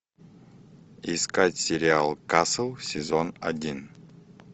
искать сериал касл сезон один